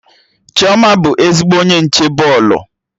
Chioma bụ ezigbo onye nche bọọlụ